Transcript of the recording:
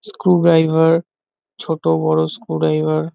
screw driver ছোট বড় screw driver --